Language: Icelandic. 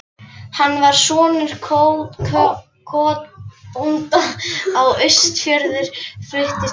Hann var sonur kotbónda á Austfjörðum, fluttist til